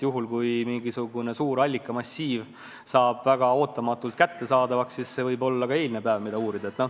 Juhul kui mingisugune suur allikamassiiv saab väga ootamatult kättesaadavaks, siis võib uurima hakata ka eilset päeva.